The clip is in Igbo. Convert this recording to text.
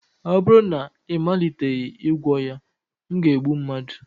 ọ bụrụ na ị maliteghị ịgwọ ya, m ga-egbu mmadụ